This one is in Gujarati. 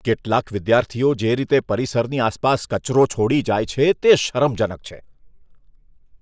કેટલાક વિદ્યાર્થીઓ જે રીતે પરિસરની આસપાસ કચરો છોડી જાય છે, તે શરમજનક છે.